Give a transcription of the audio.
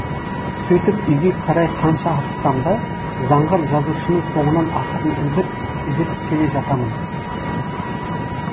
сөйтіп үйге қарай қанша асықсам да заңғар жазушының соңынан ақырын ілбіп ілесіп келе жатамын